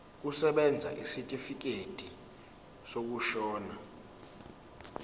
kusebenza isitifikedi sokushona